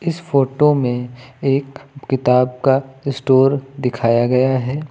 इस फोटो में एक किताब का स्टोर दिखाया गया है।